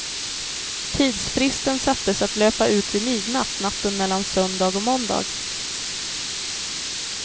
Tidsfristen sattes att löpa ut vid midnatt natten mellan söndag och måndag.